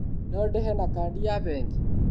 No ndĩhe na kandi ya bengi?